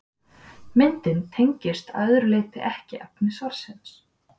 Myndin tengist að öðru leyti ekki efni svarsins.